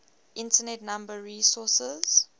internet number resources